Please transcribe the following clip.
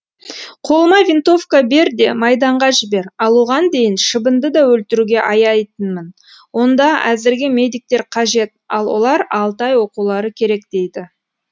қолыма винтовка бер де майданға жібер ал оған дейін шыбынды да өлтіруге аяйтынмын онда әзірге медиктер қажет ал олар алты ай оқулары керек дейді